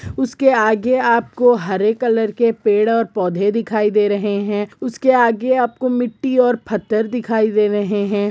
उसके आगे आपको हरे कलर के पेड़ और पौधे दिखाई दे रहे है उसके आगे आपको मिट्टी और पत्थर दिखाई दे रहे है ।